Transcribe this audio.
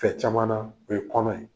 Tɛrɛ caman na , o ye kɔnɔ ye.